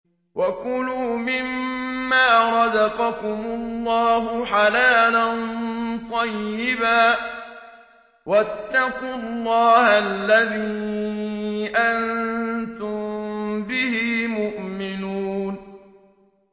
وَكُلُوا مِمَّا رَزَقَكُمُ اللَّهُ حَلَالًا طَيِّبًا ۚ وَاتَّقُوا اللَّهَ الَّذِي أَنتُم بِهِ مُؤْمِنُونَ